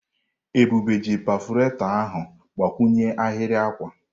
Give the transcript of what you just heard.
Ebube ji perfurato ahụ gbakwụnye ahịrị akwa.